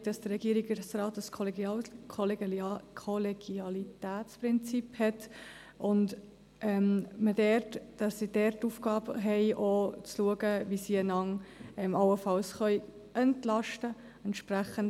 Wir sind auch der Meinung, dass der Regierungsrat ein Kollegialitätsprinzip hat, und dass sie die Aufgabe haben, auch zu schauen, wie sie einander allenfalls entlasten können.